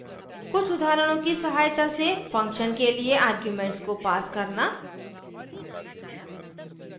कुछ उदाहरणों की सहायता से function के लिए arguments को pass करना